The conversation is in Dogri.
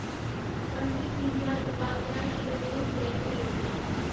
पंडित दीनदयाल उपाध्याय श्रमेव जयते योजना